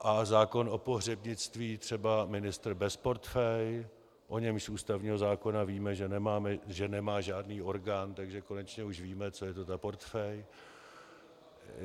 A zákon o pohřebnictví třeba ministr bez portfeje, o němž z ústavního zákona víme, že nemá žádný orgán, takže konečně už víme, co je to ta portfej?